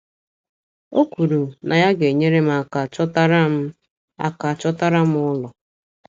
O kwuru na ya ga - enyere m aka chọtara m aka chọtara m ụlọ.